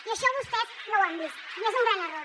i això vostès no ho han vist i és un gran error